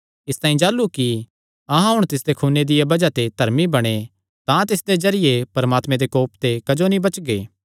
इसतांई जाह़लू कि अहां हुण तिसदे खूने दिया बज़ाह ते धर्मी बणे तां तिसदे जरिये परमात्मे दे कोप ते क्जो नीं बचगे